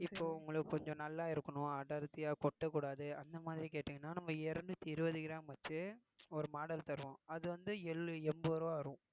இப்போ உங்களுக்கு கொஞ்சம் நல்லா இருக்கணும் அடர்த்தியா கொட்டக்கூடாது அந்த மாதிரி கேட்டீங்கன்னா நம்ம இருநூத்தி இருவது gram வச்சு ஒரு model தருவோம் அது வந்து எள்ளு~ எண்பது ரூபாய் வரும்